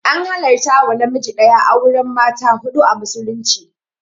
An halarta wa namiji ɗaya auren mata huɗu a musulunci